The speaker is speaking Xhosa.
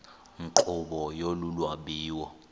nkqubo yolu lwabiwo